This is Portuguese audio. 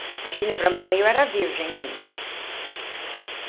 Imagina, para a mamãe eu era virgem ainda.